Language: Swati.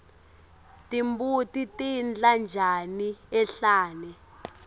timbuti tidla tjani enhlane